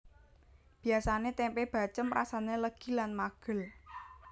Biasane tempe bacém rasane legi lan magel